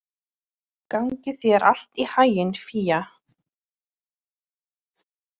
Gangi þér allt í haginn, Fía.